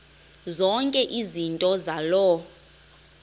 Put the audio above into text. zonke izinto zaloo